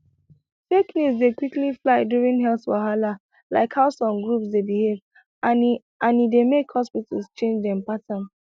fake news dey quick fly during health wahala like how some groups dey behave and e and e dey make hospitals change dem pattern